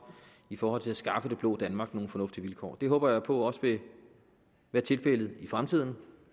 i forhold til at skaffe det blå danmark nogle fornuftige vilkår det håber jeg på også vil være tilfældet i fremtiden